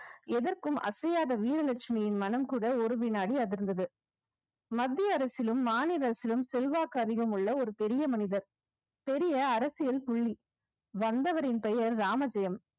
எதற்கும் அசையாத வீரலட்சுமியின் மனம் கூட ஒரு வினாடி அதிர்ந்தது மத்திய அரசிலும் மாநில அரசிலும் செல்வாக்கு அதிகம் உள்ள ஒரு பெரிய மனிதர் பெரிய அரசியல் புள்ளி வந்தவரின் பெயர் ராமத்தியம்